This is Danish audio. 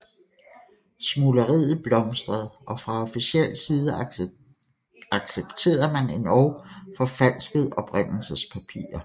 Smugleriet blomstrede og fra officiel side accepterede man endog forfalskede oprindelsespapirer